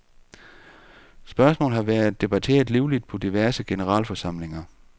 Spørgsmålet har været debatteret livligt på diverse generalforsamlinger.